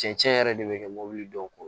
Cɛncɛn yɛrɛ de bɛ kɛ mobili dɔw ko